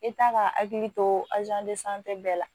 E t'a ka hakili to bɛɛ la